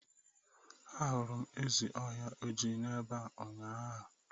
Ahụrụ m ezi ọhịa ojii n'ebe unyaahụ.